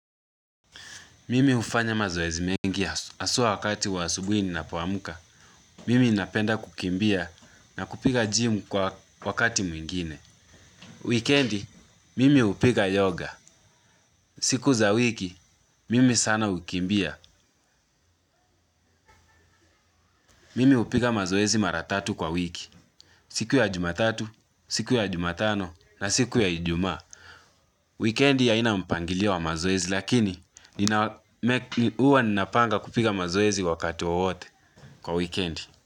Mimi hufanya mazoezi mengi aswaa wakati waasubui nnapo amka. Mimi napenda kukimbia na kupiga gym kwa wakati mwingine. Weekendi, mimi hupiga yoga. Siku za wiki, mimi sana hukimbia. Mimi upiga mazoezi maratatu kwa wiki. Siku ya jumatatu, siku ya jumatano na siku ya ijuma. Weekendi aina mpangilio wa mazoezi lakini, uwa nina panga kupiga mazoezi wakati wowote kwa weekend.